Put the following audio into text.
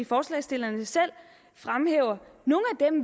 forslagsstillerne selv fremhæver